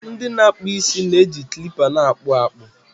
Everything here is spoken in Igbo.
ndị na-akpụ isi na-eji kilipa na-akpụ akpụ